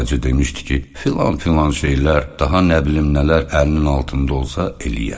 Sadəcə demişdi ki, filan-filan şeylər, daha nə bilim nələr əlinin altında olsa, eləyər.